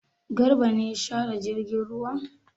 Garba ne ya share jirgin ruwa?